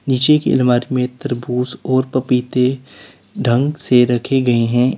नीचे की अलमारी में तरबूज और पपीते ढंग से रखे गए हैं।